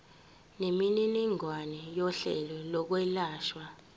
nemininingwane yohlelo lokwelashwa